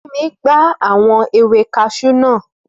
Fúnmi gbá àwọn ewé kaṣú naa